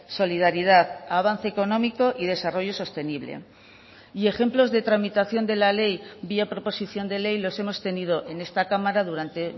solidaridad avance económico y desarrollo sostenible y ejemplos de tramitación de la ley vía proposición de ley los hemos tenido en esta cámara durante